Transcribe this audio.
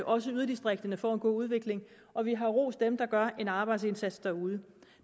også yderdistrikterne får en god udvikling og vi har rost dem der gør en arbejdsindsats derude